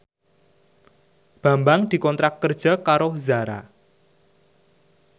Bambang dikontrak kerja karo Zara